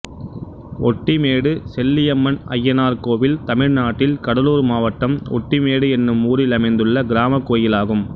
ஒட்டிமேடு செல்லியம்மன் அய்யனார் கோயில் தமிழ்நாட்டில் கடலூர் மாவட்டம் ஒட்டிமேடு என்னும் ஊரில் அமைந்துள்ள கிராமக் கோயிலாகும்